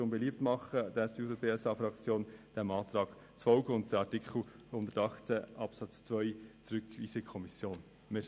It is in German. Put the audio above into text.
Die SP-JUSO-PSA-Fraktion macht Ihnen beliebt, diesem Antrag zu folgen und den Artikel 118 Absatz 2 in die Kommission zurückzuweisen.